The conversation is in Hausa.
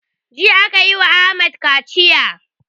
Jiya akayi wa ahmad kaciya